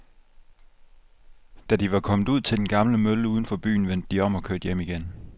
Da de var kommet ud til den gamle mølle uden for byen, vendte de om og kørte hjem igen.